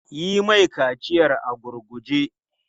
Yi mai kaciyar a gurguje!